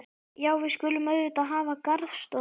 Já, við skulum auðvitað hafa garðstofu.